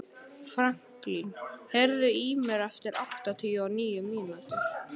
Franklín, heyrðu í mér eftir áttatíu og níu mínútur.